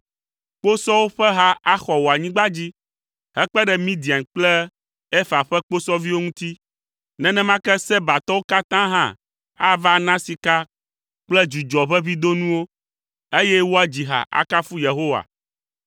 Kposɔwo ƒe ha axɔ wò anyigba dzi hekpe ɖe Midian kple Efa ƒe kposɔviwo ŋuti. Nenema ke Sebatɔwo katã hã ava ana sika kple dzudzɔʋeʋĩdonuwo, eye woadzi ha akafu Yehowa.